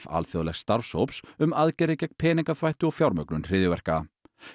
alþjóðlegs starfshóps um aðgerðir gegn peningaþvætti og fjármögnun hryðjuverka